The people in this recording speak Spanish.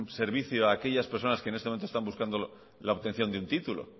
servicio a aquellas personas que en este momento buscando la obtención de un título